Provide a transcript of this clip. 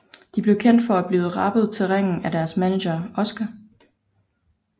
De blev kendt for at blive rappet til ringen af deres manager Oscar